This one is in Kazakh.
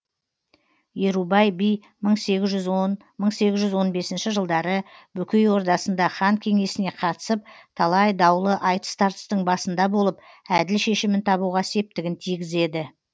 ерубай би мың сегіз жүз он мың сегіз жүз он бесінші жылдары бөкей ордасында хан кеңесіне қатысып талай даулы айтыс тартыстың басында болып әділ шешімін табуға септігін тигізеді